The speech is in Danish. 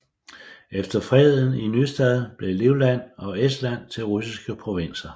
Ved Freden i Nystad blev Livland og Estland til russiske provinser